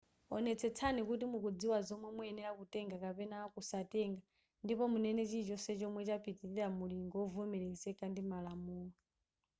onetsetsani kuti mukudziwa zomwe muyenera kutenga kapena kusatenga ndipo munene chilichonse chomwe chapitilira mulingo wovomerezeka ndi malamulo